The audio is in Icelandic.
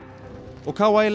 og